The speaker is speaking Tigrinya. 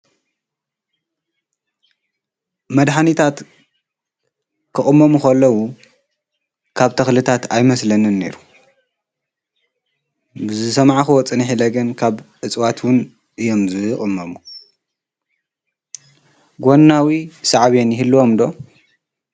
መድሓኒታት ክቅመሙ ከለው ካብ ተክልታት ኣይመስለንን ነይሩ። ብዝሰማዕክዎ ፅንሕ ኢለ ግን ካብ ኣፅዋት እዮም ዝቅመሙ ጎናዊ ሳዕብየን ይህልወም ዶ?